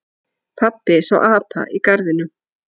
Pabbi sá apa í garðinum.